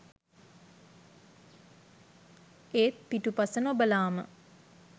ඒත් පිටුපස නොබලාම